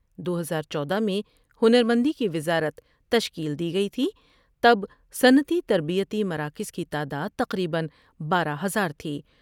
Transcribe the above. دو ہزار چودہ میں ہنر مندی کی وزارت تشکیل دی گئی تھی تب صنعتی تربیتی مراکز کی تعداد تقریبا بارہ ہزار تھی